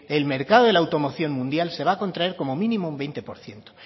el mercado de la automoción mundial se va a contraer como mínimo un veinte por ciento